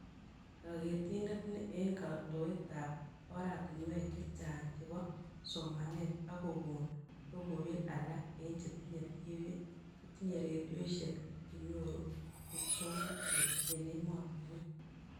Kaketinet ni eng kotoetab oratinwek chechang chebo somanet ak kokon logoiwek alak eng chetinyee TV,chetinyee redioishek ak chenyoru muswonotet eng ematinwek